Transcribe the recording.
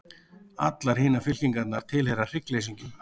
Allar hinar fylkingarnar tilheyra hryggleysingjum.